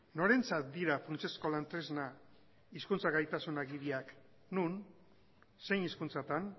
norentzat dira funtsezko lan tresna hizkuntza gaitasun agiriak non zein hizkuntzatan